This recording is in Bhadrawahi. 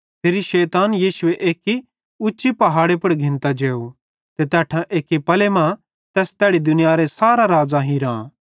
फिरी शैताने यीशु एक्की उच्चे पहाड़े पुड़ घिन्तां जेव ते तैट्ठां एक्की पले मां तैस तैड़ी दुनियारां सारां राज़्ज़ां हिरां